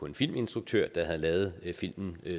en filminstruktør der havde lavet filmen